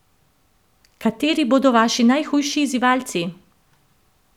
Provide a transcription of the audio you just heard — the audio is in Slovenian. Kateri bodo vaši najhujši izzivalci?